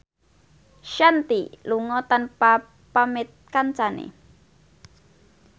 Shanti lunga tanpa pamit kancane